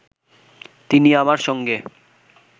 তিনি আমার সঙ্গে